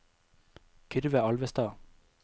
Kyrre Alvestad